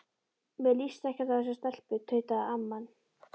Mér líst ekkert á þessa stelpu tautaði amman.